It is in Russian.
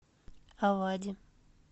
авади